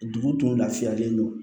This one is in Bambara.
Dugu dun lafiyalen don